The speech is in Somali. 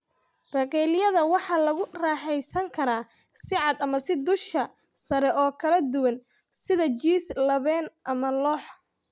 Bagelyada waxaa lagu raaxaysan karaa si cad ama dusha sare oo kala duwan, sida jiis labeen ama lox.